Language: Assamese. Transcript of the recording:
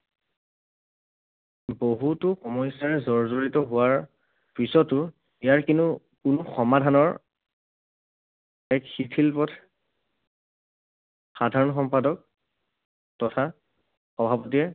বহুতো সমস্যাৰে জৰ্জৰিত হোৱাৰ পিছতো ইয়াৰ কিনো কোনো সমাধানৰ সাধাৰণ সম্পাদক তথা সভাপতিয়ে